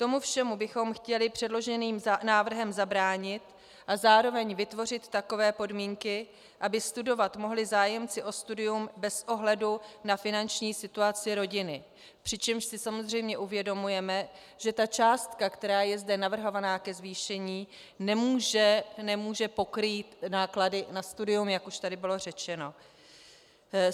Tomu všemu bychom chtěli předloženým návrhem zabránit a zároveň vytvořit takové podmínky, aby studovat mohli zájemci o studium bez ohledu na finanční situaci rodiny, přičemž si samozřejmě uvědomujeme, že ta částka, která je zde navrhovaná ke zvýšení, nemůže pokrýt náklady na studium, jak už tady bylo řečeno.